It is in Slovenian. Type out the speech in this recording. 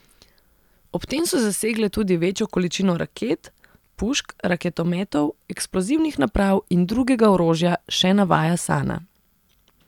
Ob tem so zasegle tudi večjo količino raket, pušk, raketometov, eksplozivnih naprav in drugega orožja, še navaja Sana.